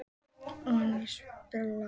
Voney, spilaðu lag.